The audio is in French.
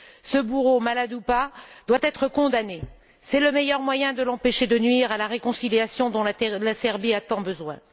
Ce bourreau, malade ou pas, doit être condamné, c'est le meilleur moyen de l'empêcher de nuire à la réconciliation dont la Serbie a tant besoin.